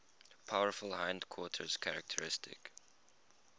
powerful hindquarters characteristic